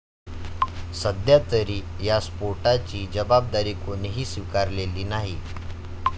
सध्यातरी या स्फोटाची जबाबदारी कोणीही स्वीकारलेली नाही.